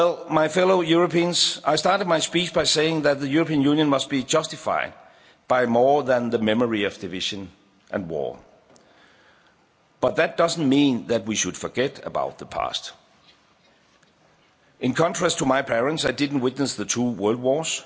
it. My fellow Europeans, I started my speech by saying that the European Union must be justified by more than the memory of division and war, but that doesn't mean that we should forget about the past. In contrast to my parents, I didn't witness the two world